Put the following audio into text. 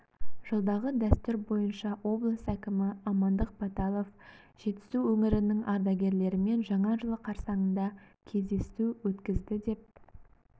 жылдағы дәстүр бойынша облыс әкімі амандық баталов жетісу өңірінің ардагерлерімен жаңа жыл қарсаңында кездесу өткізді деп